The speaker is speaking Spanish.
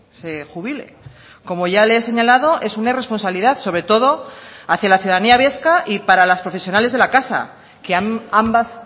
se jubile como ya le he señalado es una irresponsabilidad sobre todo hacia la ciudadanía vasca y para las profesionales de la casa que ambas